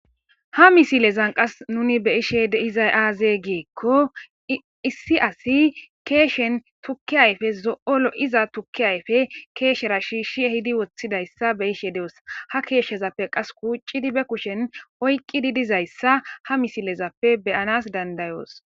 Ha misilezan qas nuni beyishe dizay aaze giekko issi asi keeshen tukkiyayfe zo'olo iza tukkiyayfe keeshera shiishshi hidi woththidayssa beyishe de'os ha keeshshezappe qas kuuccidi be kushen oyqqidi dizayssa ha misilezappe beyanas dandayoos.